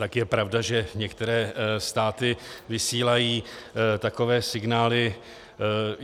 Tak je pravda, že některé státy vysílají takové signály.